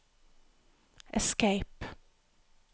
escape